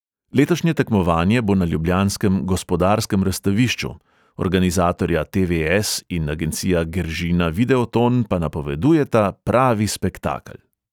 Letošnje tekmovanje bo na ljubljanskem gospodarskem razstavišču, organizatorja te|ve|es in agencija geržina videoton pa napovedujeta pravi spektakel.